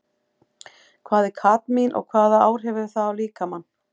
Hvað er kadmín og hvaða áhrif hefur það á líkamann?